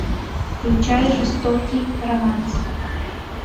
включай жестокий романс